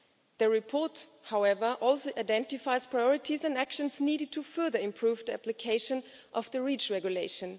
The report, however, also identifies priorities and actions needed to further improve the application of the REACH Regulation.